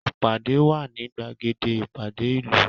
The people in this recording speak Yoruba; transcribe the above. Ìpàdé wà ní gbàgede ìpàdé ìlú